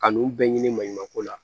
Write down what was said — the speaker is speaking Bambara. Ka n'u bɛɛ ɲini maɲuman ko la